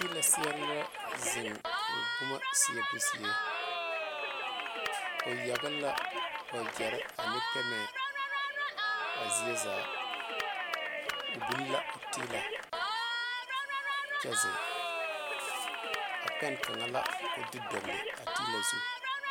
Tiila seɛre la zeŋ ba boma seɛbo zie o pegle la wagyere ane pemɛ a zie zaa o biŋ la o tiilɛ kyɛ biŋ a pɛŋ kaŋa la ko de dogle a tiila zu.